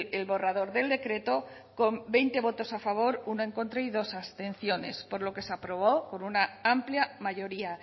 el borrador del decreto con veinte votos a favor uno en contra y dos abstenciones por lo que se aprobó por una amplia mayoría